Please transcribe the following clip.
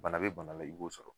Bana bi bana la ,i b'o sɔrɔ.